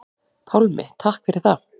Pálmi: Takk fyrir það.